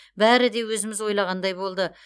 бәрі де өзіміз ойлағандай болды